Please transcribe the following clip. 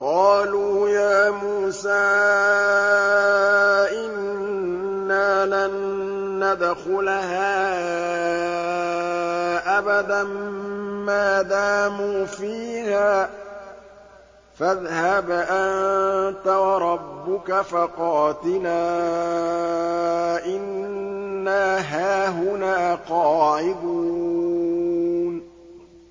قَالُوا يَا مُوسَىٰ إِنَّا لَن نَّدْخُلَهَا أَبَدًا مَّا دَامُوا فِيهَا ۖ فَاذْهَبْ أَنتَ وَرَبُّكَ فَقَاتِلَا إِنَّا هَاهُنَا قَاعِدُونَ